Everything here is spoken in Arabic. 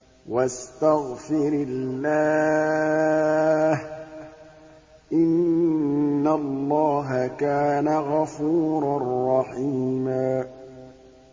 وَاسْتَغْفِرِ اللَّهَ ۖ إِنَّ اللَّهَ كَانَ غَفُورًا رَّحِيمًا